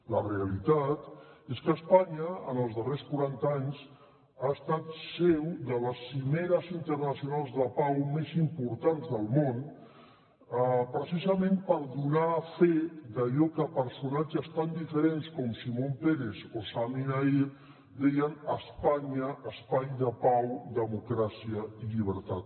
la realitat és que espanya en els darrers quaranta anys ha estat seu de les cimeres internacionals de pau més importants del món precisament per donar fe d’allò que personatges tan diferents com shimon peres o sami naïr deien espanya espai de pau democràcia i llibertat